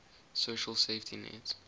social safety net